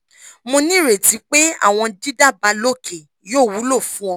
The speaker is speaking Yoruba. mo nireti pe awọn didaba loke yoo wulo fun ọ